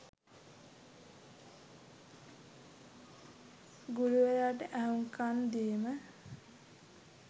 ගුරුවරයාට ඇහුම්කන් දීම,